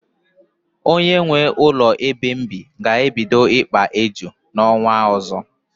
Onye nwee ụlọ ebe m bi ga-ebido ikpa éjù n'ọnwa ọzọ.